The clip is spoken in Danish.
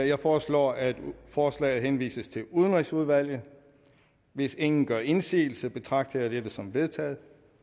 jeg foreslår at forslaget henvises til udenrigsudvalget hvis ingen gør indsigelse betragter jeg dette som vedtaget